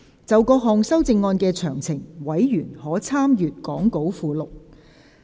就各項修正案的詳情，委員可參閱講稿附錄。